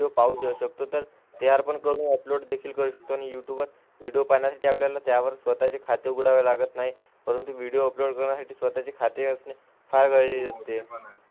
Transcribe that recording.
पाहू शकतो, तर तयार पण करून अपलोड देखील करू शकतो. आणि युट्यूब वर व्हिडिओ पाहण्यासाठी आपल्याला त्यावर स्वतःचे खाते उघडावे लागत नाही, परंतु व्हिडिओ अपलोड करण्यासाठी स्वतःचे खाते असणे फार गरजेचे असते.